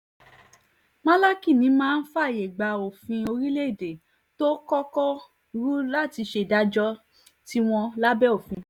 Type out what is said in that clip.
málákì ni á máa fààyè gba òfin orílẹ̀‐èdè tó kọ́kọ́ rú láti ṣe ìdájọ́ tiwọn lábẹ́ òfin